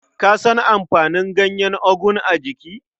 Ka san amfanin ganyen ogu a jiki?